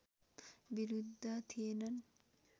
विरुद्ध थिएनन्